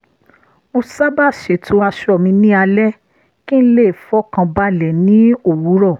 mo sábà ṣètò aṣọ mi ní alẹ́ kí n le fọkàn balẹ̀ ní òwúrọ̀